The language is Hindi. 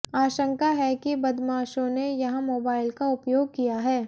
आशंका है कि बदमाशों ने यहां मोबाइल का उपयोग किया है